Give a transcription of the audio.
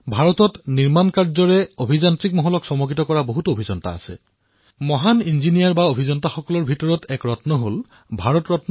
ভাৰতত এনেকুৱা বহু ইঞ্জিনীয়াৰ আছে যিয়ে অকল্পনীয়ক কল্পনীয় কৰিলে আৰু ইঞ্জিনীয়াৰিঙৰ পৃথিৱীত চমৎকাৰ বুলি কোৱা উদাহৰণ প্ৰস্তুত কৰিসে